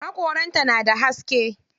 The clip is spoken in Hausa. Haƙoran ta na da haske.